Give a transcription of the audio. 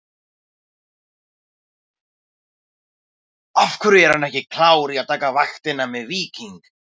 Af hverju er hann ekki klár í að taka vaktina með Víking?